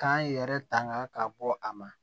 K'an yɛrɛ tanga ka bɔ a ma